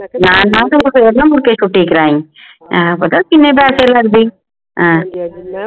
ਨਾ ਨਾ ਤੂੰ ਫੇਰ ਨਾ ਮੁੜ ਕੇ ਛੁੱਟੀ ਕਰਾਈ ਆਹੋ ਪਤਾ ਕਿੰਨੇ ਪੈਸੇ ਲਗਦੇ ਆਹੋ